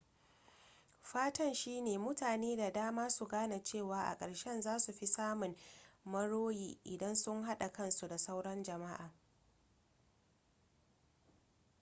fatan shi ne mutane da dama su gane cewa a karshe za su fi samun moriya idan sun hada kansu da sauran jama'a